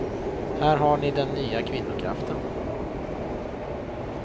Här har ni den nya kvinnokraften.